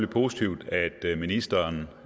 positivt at ministeren